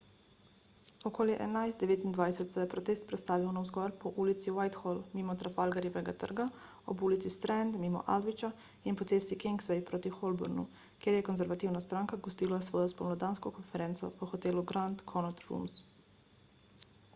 okoli 11.29 se je protest prestavil navzgor po ulici whitehall mimo trafalgarjevega trga ob ulici strand mimo aldwycha in po cesti kingsway proti holbornu kjer je konservativna stranka gostila svojo spomladansko konferenco v hotelu grand connaught rooms